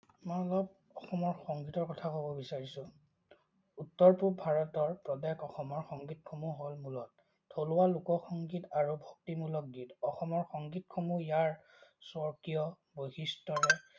মই অলপ অসমৰ সংগীতৰ কথা কব বিচাৰিছো। উত্তৰ-পূব ভাৰতৰ প্ৰদেশ অসমৰ সংগীতসমূহ হল থলুৱা লোকসংগীত আৰু ভক্তিমূলক গীত। অসমৰ সংগীতসমূহ ইয়াৰ স্বকীয় বৈশিষ্টৰে